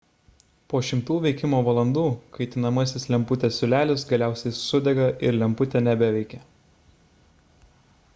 po šimtų veikimo valandų kaitinamasis lemputės siūlelis galiausiai sudega ir lemputė nebeveikia